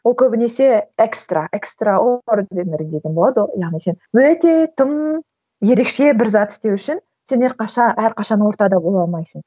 ол көбінесе экстра экстра деген болады яғни сен өте тым ерекше бір зат істеу үшін сен әрқашан ортада бола алмайсың